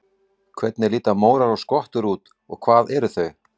Hvernig líta mórar og skottur út og hvað eru þau?